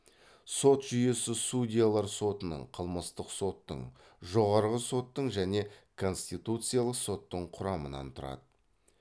сот жүйесі судьялар сотының қылмыстық соттың жоғарғы соттың және конституциялық соттың құрамынан тұрады